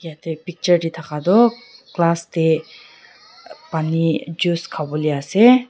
yate picture tae thaka tu glass tae pani juice khawolae ase.